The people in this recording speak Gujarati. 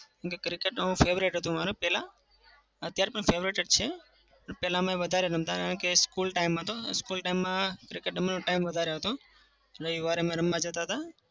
cricket તો favorite હતું અમારે પેલા. અત્યારે પણ favorite છે. પણ પેલા અમે વધારે રમતા કેમ કે school time હતો. school time માં cricket રમવાનો time વધારે હતો. રવિવારે અમે રમવા જતા.